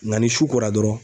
Nga ni su kora dɔrɔn